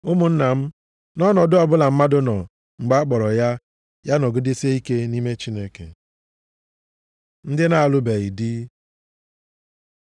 Ụmụnna m, nʼọnọdụ ọbụla mmadụ nọ mgbe a kpọrọ ya, ya nọgidesie ike nʼime Chineke. Ndị na-alụbeghị di